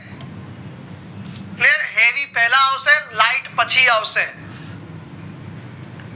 clear એની પેલા આવશે light પછી આવશે